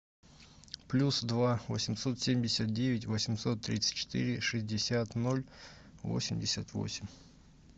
плюс два восемьсот семьдесят девять восемьсот тридцать четыре шестьдесят ноль восемьдесят восемь